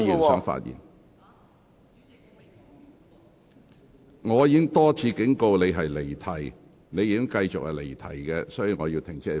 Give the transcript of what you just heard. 黃議員，我已多次警告，但你仍繼續離題，所以我請你停止發言。